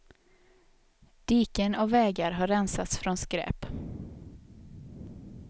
Diken och vägar har rensats från skräp.